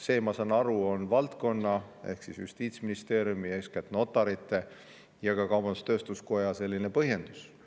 See, ma saan aru, on valdkonna ehk Justiitsministeeriumi ja eeskätt notarite ja ka kaubandus-tööstuskoja põhjendus.